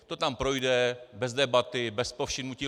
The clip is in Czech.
To tam projde bez debaty, bez povšimnutí.